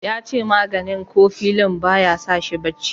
yace maganin kofilin ba ya sa shi barci